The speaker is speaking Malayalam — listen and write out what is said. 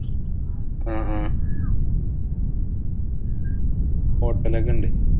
ആഹ് അഹ് hotel ഒക്കെ ഉണ്ട്.